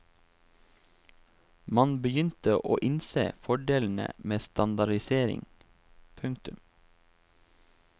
Man begynte å innse fordelene med standardisering. punktum